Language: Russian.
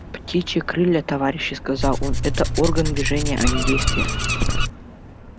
птичьи крылья товарищи сказал он это орган движения а не действия